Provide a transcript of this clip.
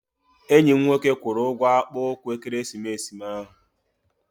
Enyi m nwoke kwụrụ ụgwọ akpụ ụkwụ ekeresimesi m ahụ.